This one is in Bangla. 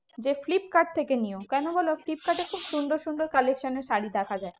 যে ফ্লিপকার্ড থেকে নিও কেন বলো ফ্লিপকার্ডে খুব সুন্দর সুন্দর collection এর শাড়ী দেখা যায়।